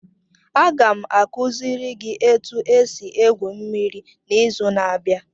Aga m akuziri gị etu esi egwu mmiri n'izu na-abịa.